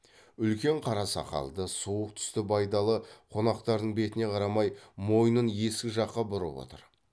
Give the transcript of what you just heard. үлкен қара сақалды суық түсті байдалы қонақтардың бетіне қарамай мойнын есік жаққа бұрып отыр